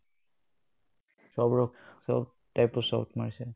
চব type ৰ shot মাৰিছে